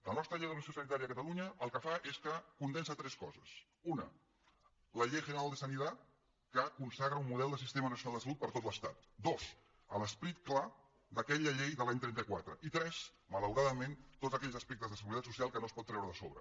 la nostra llei d’organització sanitària de catalunya el que fa és que condensa tres coses una la ley general de sanidad que consagra un model de sistema nacional de salut per a tot l’estat dos l’esperit clar d’aquella llei de l’any trenta quatre i tres malauradament tots aquells aspectes de seguretat social que no es pot treure de sobre